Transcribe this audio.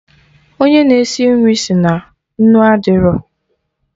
Onye na-esi nri si na nnu adịrọ